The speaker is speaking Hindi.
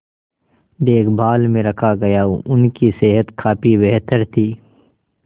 देखभाल में रखा गया उनकी सेहत काफी बेहतर थी